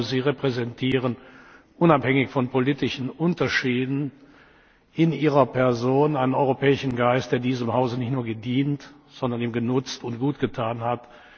Sie repräsentieren, unabhängig von politischen Unterschieden, in Ihrer Person einen europäischen Geist, der diesem Hause nicht nur gedient, sondern ihm genutzt und gutgetan hat.